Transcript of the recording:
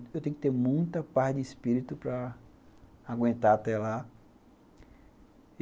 Eu tenho que ter muita paz de espírito para aguentar até lá.